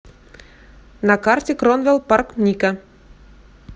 на карте кронвел парк ника